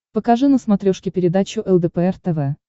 покажи на смотрешке передачу лдпр тв